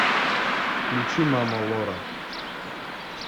включи мама лора